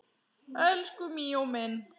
Elsku Míó minn